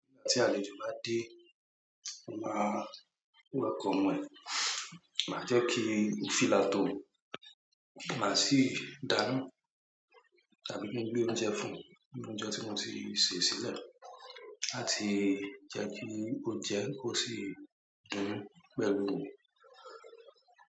Tí àlejò bá dé, a máa welcome ẹ̀. Máa jẹ́ kí ó feel at home, máa sì dáná tàbí kí n gbé oúnjẹ fún-un, oúnjẹ tí mo ti sè sílẹ̀. Láti jẹ́ kí ó jẹun kó sì dúró pẹ̀lú mi.